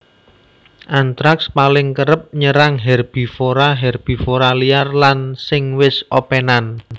Antraks paling kerep nyerang herbivora herbivora liar lan sing wis opènan